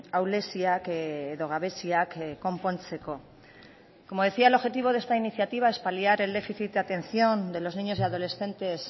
ahuleziak edo gabeziak konpontzeko como decía el objetivo de esta iniciativa es paliar el déficit de atención de los niños y adolescentes